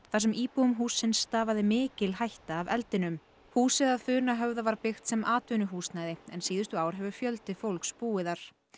þar sem íbúum hússins stafaði mikil hætta af eldinum húsið að Funahöfða var byggt sem atvinnuhúsnæði en síðustu ár hefur fjöldi fólks búið þar